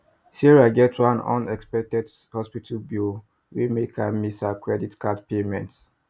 sarah get one unexpected hospital bill wey make her miss her credit card payment